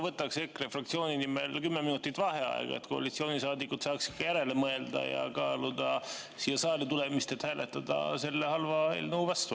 Võtaks EKRE fraktsiooni nimel 10 minutit vaheaega, et koalitsioonisaadikud saaksid ka järele mõelda ja kaaluda siia saali tulemist, et hääletada selle halva eelnõu vastu.